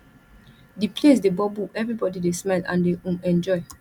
di place dey bubble everybody dey smile and dey um enjoy